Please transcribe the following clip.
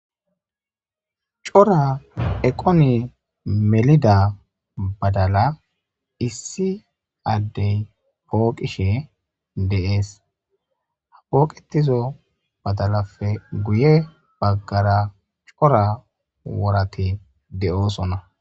Cora eqone melida badala issi addey pooqishe deees ha pooqetizo badalape guye baggara cora worati d'oosonna.